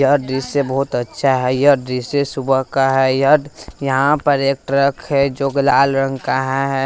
यह दृश्य बहोत अच्छा है यह दृश्य सुबह का है यह यहां पर एक ट्रक है जो कि लाल रंग का हा है।